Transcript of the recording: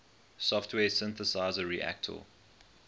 software synthesizer reaktor